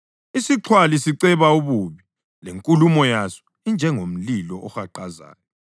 Isixhwali siceba ububi, lenkulumo yaso injengomlilo ohaqazayo.